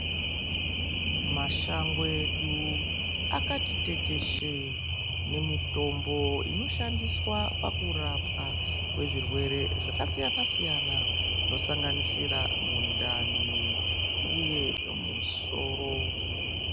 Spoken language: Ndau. Mashango edu akati tekeshe nemitombo inoshandiswa pakurapwa kwezvirwere zvakasiyana-siyana zvinosanganisira mundani uye musoro.